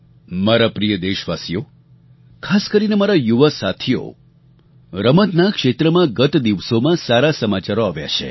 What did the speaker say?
મારા પ્રિય દેશવાસીઓ ખાસ કરીને મારા યુવા સાથીઓ રમતના ક્ષેત્રમાં ગત દિવસોમાં સારા સમાચારો આવ્યા છે